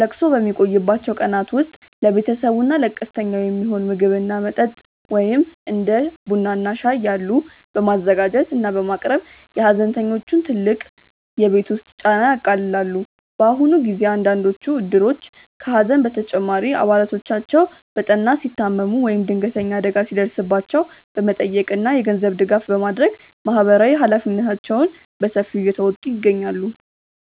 ለቅሶው በሚቆይባቸው ቀናት ውስጥ ለቤተሰቡ እና ለቀስተኛው የሚሆን ምግብ እና መጠጥ (እንደ ቡና እና ሻይ ያሉ) በማዘጋጀት እና በማቅረብ የሐዘንተኞቹን ትልቅ የቤት ውስጥ ጫና ያቃልላሉ። በአሁኑ ጊዜ አንዳንዶቹ እድሮች ከሐዘን በተጨማሪ አባላቶቻቸው በጠና ሲታመሙ ወይም ድንገተኛ አደጋ ሲደርስባቸው በመጠየቅ እና የገንዘብ ድጋፍ በማድረግ ማህበራዊ ኃላፊነታቸውን በሰፊው እየተወጡ ይገኛሉ።